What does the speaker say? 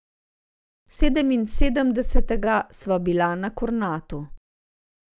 Sedeminsedemdesetega sva bila na Kornatu.